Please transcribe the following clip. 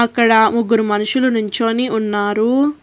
అక్కడ ముగ్గురు మనుషులు నుంచోని ఉన్నారు.